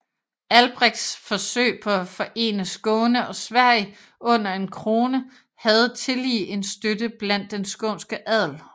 Albrechts forsøg på at forene Skåne og Sverige under en krone havde tillige en støtte blandt den skånske adel